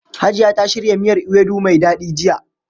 Hajiya ta shirya miyar ewedu mai daɗi jiya.